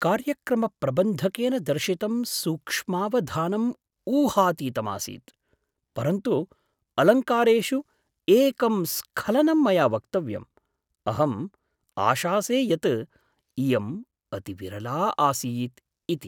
कार्यक्रमप्रबन्धकेन दर्शितं सूक्ष्मावधानम् ऊहातीतं आसीत्, परन्तु अलङ्कारेषु एकं स्खलनम् मया वक्तव्यम्। अहम् आशासे यत् इयं अतिविरला आसीत् इति।